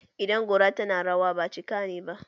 Idan gora tana rawa, ba cika ne ba!